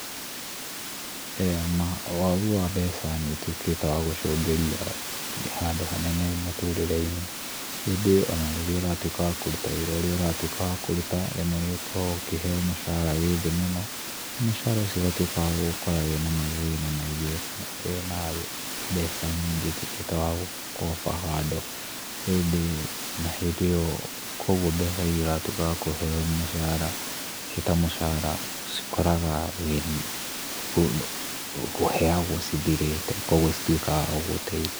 Ĩĩ ma wagu wa mbeca nĩũtuĩkĩte wa gũcũngĩria handũ hanene mũtũrĩre-inĩ, ĩndĩ ona rĩrĩa ũratuĩka wa kũruta wĩra ũrĩa ũratuĩka wa kũruta, rĩmwe nĩũkoragwo ũkĩheo mũcara wĩ thĩ mũno, na mũcara ũcio ũgatuĩka wa gũgũkora wĩna mathĩna maingĩ kana wĩna mbeca nyingĩ ũtuĩkĩte wa kũ over handle ĩndĩ na hĩndĩ ĩyo kuoguo mbeca iria ũratuĩka wa kũheo mũcara ciĩ ta mũcara ũcikoraga ũheagwo cithirĩte kuoguo citiũkaga gũgũteithia.